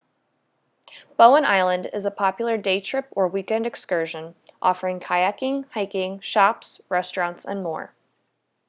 bowen island is a popular day trip or weekend excursion offering kayaking hiking shops restaurants and more